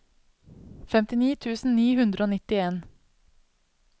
femtini tusen ni hundre og nittien